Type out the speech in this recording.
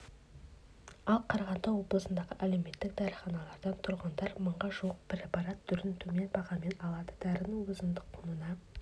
ал қарағанды облысындағы әлеуметтік дәріханалардан тұрғындар мыңға жуық препарат түрін төмен бағамен алады дәрінің өзіндік құнына